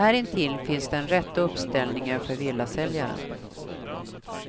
Här intill finns den rätta uppställningen för villasäljare.